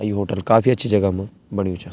और यु होटल काफी अच्छी जगह म बण्यु चा।